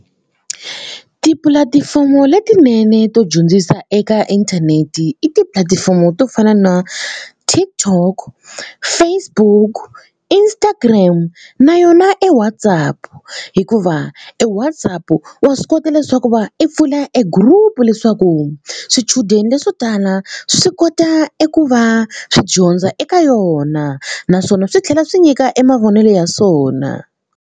Tipulatifomo letinene to dyondzisa eka inthanete i tipulatifomo to fana na TikTok, Facebook, Instagram na yona e WhatsApp hikuva e WhatsApp wa swi kota leswaku va i pfula e group leswaku swichudeni leswo tala swi kota eku va swi dyondza eka yona naswona swi tlhela swi nyika e mavonelo ya swona.